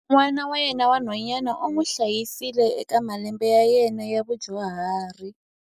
N'wana wa yena wa nhwanyana u n'wi hlayisile eka malembe ya yena ya vudyuhari.